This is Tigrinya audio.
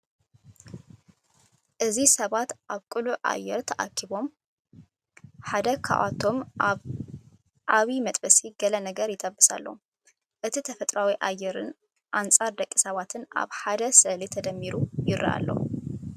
እዚ ሰባት ኣብ ቅሉዕ ኣየር ተኣኪቦም፡ ሓደ ካብኣቶም ኣብ ዓቢ መጥበሲ ገለ ነገር ይጠብስ ኣሎ። እቲ ተፈጥሮኣዊ ኣየርን ጻዕር ደቂ ሰባትን ኣብ ሓደ ስእሊ ተደሚሩ'ዩ ይረአ ኣሎ።